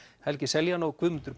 helgi Seljan og Guðmundur